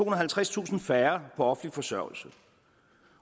og halvtredstusind færre på offentlig forsørgelse